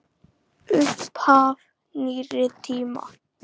Upphaf nýrri tíma.